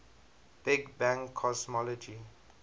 big bang cosmology